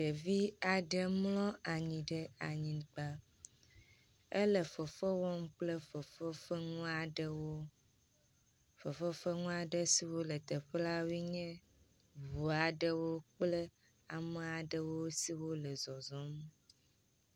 Ɖevi aɖe mlɔ anyigba ele fefewɔm kple fefefeŋuaɖewo fefefeŋuaɖesiwo le teƒe lawoe nye ʋuaɖewo kple ameaɖewo siwo le zɔzɔm